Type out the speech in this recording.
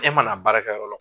E mana baarakɛ yɔrɔ la.